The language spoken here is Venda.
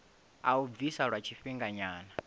a u bvisa lwa tshifhinganyana